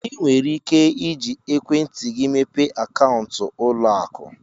Ị nwere ike iji ekwentị gị mepee akaụntụ ụlọ akụ.